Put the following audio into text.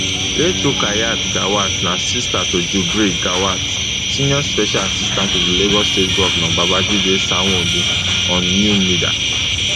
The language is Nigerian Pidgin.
late rukayat gawat na sister to jubril gawat senior special assistant to di lagos state govnor babajide sanwoolu on new media